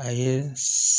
A ye